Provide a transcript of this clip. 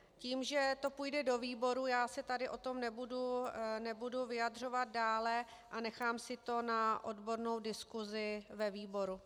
Tím, že to půjde do výboru, já se tady k tomu nebudu vyjadřovat dále a nechám si to na odbornou diskusi ve výboru.